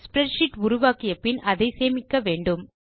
spreadsheet உருவாக்கிய பின் அதை சேமிக்க வேண்டும்